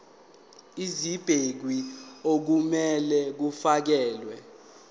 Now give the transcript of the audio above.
ezibekiwe okumele kufakelwe